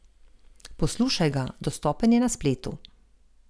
Poslušaj ga, dostopen je na spletu.